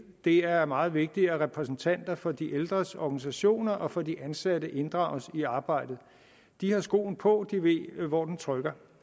er det meget vigtigt at repræsentanter for de ældres organisationer og for de ansatte inddrages i arbejdet de har skoen på og ved hvor den trykker